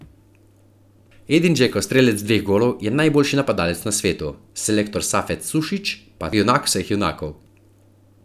Edin Džeko, strelec dveh golov, je najboljši napadalec na svetu, selektor Safet Sušić pa junak vseh junakov.